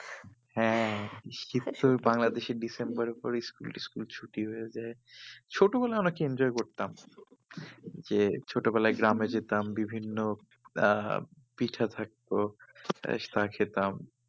হ্যাঁ শীতের সময় বাংলাদেশে school টি school ছুটি হয়ে যায় ছোটবেলায় অনেক enjoy করতাম যে ছোটবেলায় গ্রামে যেতাম বিভিন্ন আহ পিঠা থাকতো খেতাম